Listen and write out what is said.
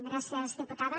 gràcies diputada